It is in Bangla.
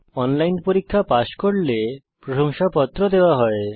অনলাইন পরীক্ষা পাস করলে প্রশংসাপত্র দেওয়া হয়